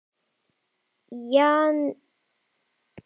hváir Júlía ergileg.